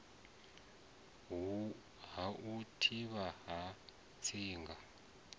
ha u thivhana ha tsinga